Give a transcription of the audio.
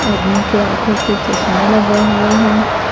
आदमी के आंखों पे चश्मा लगा हुआ है।